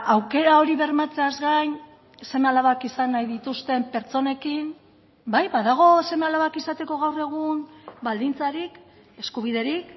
aukera hori bermatzeaz gain seme alabak izan nahi dituzten pertsonekin bai badago seme alabak izateko gaur egun baldintzarik eskubiderik